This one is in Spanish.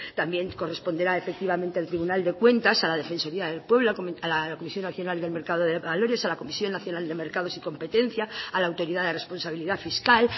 también corresponderá efectivamente al tribunal de cuentas a la defensoría del pueblo a la comisión nacional del mercado de valores a la comisión nacional de mercados y competencia a la autoridad de responsabilidad fiscal